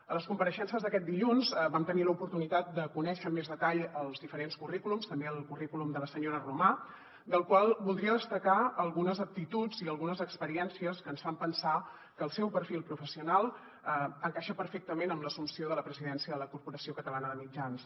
a les compareixences d’aquest dilluns vam tenir l’oportunitat de conèixer amb més detall els diferents currículums també del currículum de la senyora romà del qual voldria destacar algunes aptituds i algunes experiències que ens fan pensar que el seu perfil professional encaixa perfectament amb l’assumpció de la presidència de la corporació catalana de mitjans